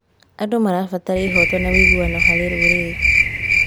Andũ marabatara ihooto na ũigananu harĩ rũrĩrĩ.